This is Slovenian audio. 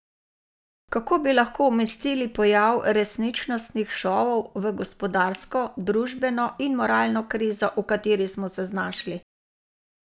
Kako bi lahko umestili pojav resničnostnih šovov v gospodarsko, družbeno in moralno krizo, v kateri smo se znašli?